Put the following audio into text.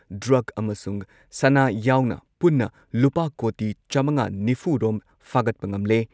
Drug ꯑꯃꯁꯨꯡ ꯁꯅꯥ ꯌꯥꯎꯅ ꯄꯨꯟꯅ ꯂꯨꯄꯥ ꯀꯣꯇꯤ ꯆꯥꯃꯉꯥ ꯅꯤꯐꯨ ꯔꯣꯝ ꯐꯥꯒꯠꯄ ꯉꯝꯂꯦ ꯫